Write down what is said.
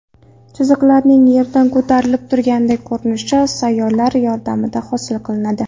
Chiziqlarining yerdan ko‘tarilib turganday ko‘rinishi soyalar yordamida hosil qilinadi.